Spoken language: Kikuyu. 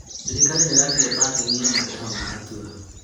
Thirikari nĩĩrakire pakĩngi ya matereba ma Atũa